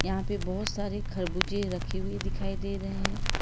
यहां पे बहोत सारे खरबूजे रखी हुई दिखाई दे रहे हैं।